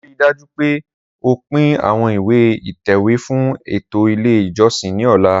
Rii daju pe o pin awọn ìwẹ̀ ìtẹ̀wè fun eto ile ijọsin ni ọla!